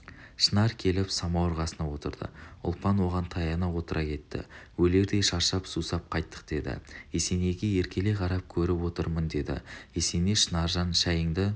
шынар келіп самауыр қасына отырды ұлпан оған таяна отыра кетті өлердей шаршап сусап қайттық деді есенейге еркелей қарап көріп отырмын деді есеней шынаржан шайыңды